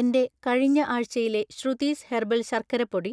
എന്‍റെ കഴിഞ്ഞ ആഴ്‌ചയിലെ ശ്രുതിസ് ഹെർബൽ ശർക്കര പൊടി,